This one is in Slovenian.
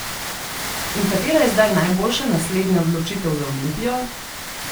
In katera je zdaj najboljša naslednja odločitev za Olimpijo?